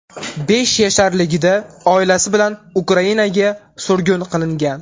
Besh yasharligida oilasi bilan Ukrainaga surgun qilingan.